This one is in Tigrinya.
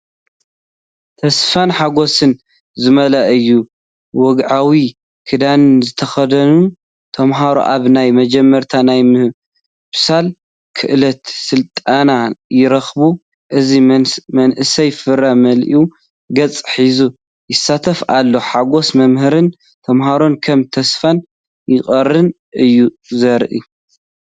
ተስፋን ሓጎስን ዝመልአ እዩ። ወግዓዊ ክዳንን ዝተኸድኑ ተምሃሮ ኣብ ናይ መጀመርታ ናይ ምብሳል ክእለት ስልጠና ይርከቡ፤ እዚ መንእሰይ ፍረ መሊኡ ገጽ ሒዙ ይሳተፍ ኣሎ። ሓጎስ መምህራንን ተምሃሮን ከም ተስፋን ፍቕርን እዩ ዝረአ።